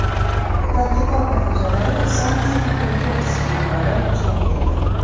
Tadqiqot natijalari Scientific Reports jurnalida chop etildi.